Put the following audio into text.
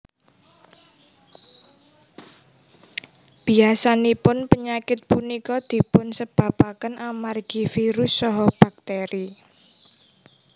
Biyasanipun penyakit punika dipun sebabaken amargi virus saha bakteri